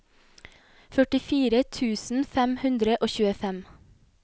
førtifire tusen fem hundre og tjuefem